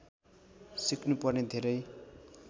सिक्नुपर्ने धेरै